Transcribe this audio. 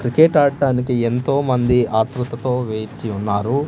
Cricket ఆట్టానికి ఎంతో మంది ఆత్రుతతో వేచి ఉన్నారు.